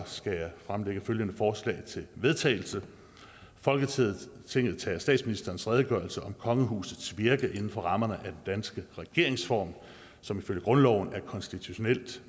skal jeg fremsætte følgende forslag til vedtagelse folketinget tager statsministerens redegørelse om kongehusets virke inden for rammerne af den danske regeringsform som ifølge grundloven er konstitutionelt